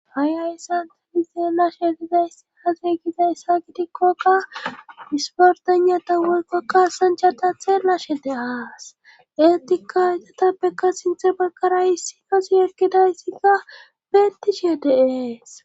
Ha'i ayssantedi seelashe gizayss hage gizayssa gidikkoka disportanata wolkokka sanchata theelashe deaas eetika igatappekka sinthe bakara hissi nosi ekkidayssikka beettishee deees